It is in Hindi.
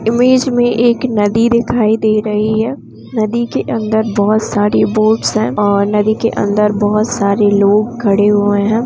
इमेज में एक नदी दिखाई दे रही है नदी के अंदर बहोत सारी बोट्स है और नदी के अंदर बहोत सारे लोग खड़े हुए हैं।